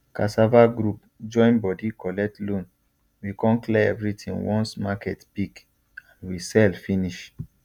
cassava group join body collect loan we con clear everything once market pick and we sell finish